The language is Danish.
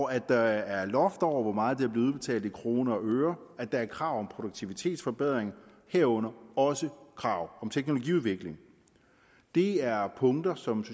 at der er loft over hvor meget der bliver udbetalt i kroner og øre og at der er krav om produktivitetsforbedring herunder også krav om teknologiudvikling det er punkter som